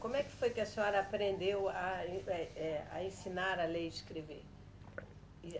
Como é que foi que a senhora aprendeu a en, eh, eh, a ensinar a ler e escrever?